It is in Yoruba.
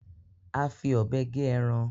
A fí òbé gé ẹran